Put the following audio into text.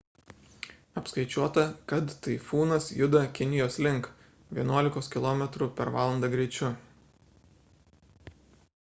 apskaičiuota kad taifūnas juda kinijos link vienuolikos km/h greičiu